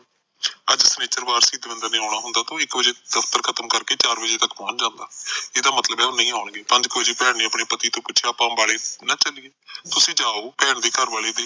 ਅੱਜ ਸ਼ਨੀਚਰਵਾਰ ਸੀ ਦਵਿੰਦਰ ਨੇ ਆਉਣਾ ਹੁੰਦਾ ਤੇ ਇੱਕ ਵਜੇ ਦਫਤਰ ਖਤਮ ਕਰਕੇ ਚਾਰ ਬਜੇ ਤੱਕ ਪਹੁੰਚ ਜਾਂਦਾ ਇਹਦਾ ਮਤਲਬ ਉਹ ਨਹੀਂ ਆਉਣਗੇ ਪੰਜ ਕ ਵਜੇ ਭੈਣ ਨੇ ਆਪਣੇ ਪਤੀ ਤੋ ਪੁਸ਼ਿਆ ਆਪਾ ਅੰਬਾਲੇ ਨੂੰ ਨਾ ਚਲਿਏ ਤੁਸੀ ਜਾਓ ਭੈਣ ਦੇ ਘਰ ਵਾਲੇ ਨੇ